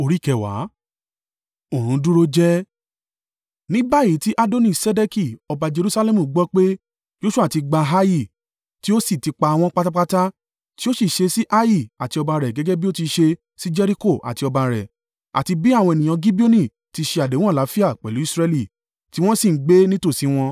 Ní báyìí tí Adoni-Sedeki ọba Jerusalẹmu gbọ́ pé Joṣua ti gba Ai, tí ó sì ti pa wọ́n pátápátá; tí ó sì ṣe sí Ai àti ọba rẹ̀ gẹ́gẹ́ bí ó ti ṣe sí Jeriko àti ọba rẹ̀, àti bí àwọn ènìyàn Gibeoni ti ṣe àdéhùn àlàáfíà pẹ̀lú Israẹli, tí wọ́n sì ń gbé nítòsí wọn.